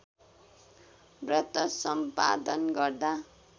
व्रत सम्पादन गर्दा